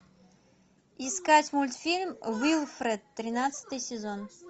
искать мультфильм уилфред тринадцатый сезон